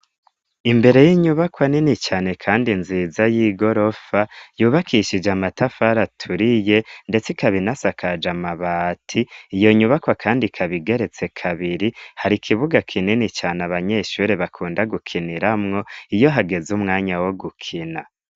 Imbere y'inyubakwa nini cane kandi nziza y'igorofa yubakishije amatafari aturiye ndetse ikaba inasakaje amabati iyo nyubakwa kandi kabigeretse kabiri hari kibuga kinini cyane abanyeshuri bakunda gukiniramwo iyo hageze umwanya wo gukina.